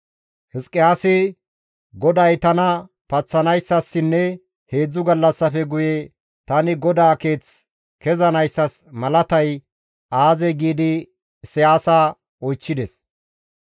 Hizqiyaasi, «GODAY tana paththanayssassinne heedzdzu gallassafe guye tani GODAA keeth kezanayssas malatay aazee?» giidi Isayaasa oychchides.